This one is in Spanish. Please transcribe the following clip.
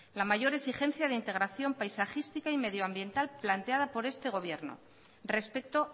la mayor exigencia de integración paisajística y medioambiental planteada por este gobierno respecto